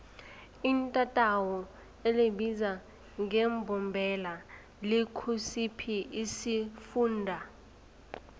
itatawu elibizwa ngembombela likusiphi isifunda